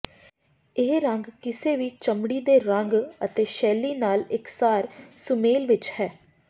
ਇਹ ਰੰਗ ਕਿਸੇ ਵੀ ਚਮੜੀ ਦੇ ਰੰਗ ਅਤੇ ਸ਼ੈਲੀ ਨਾਲ ਇਕਸਾਰ ਸੁਮੇਲ ਵਿੱਚ ਹੈ